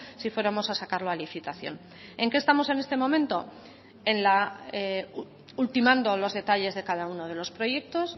si fuéramos a sacarlo a licitación en qué estamos en este momento en la ultimando los detalles de cada uno de los proyectos